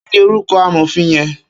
Kini órúkò àmófin yèn?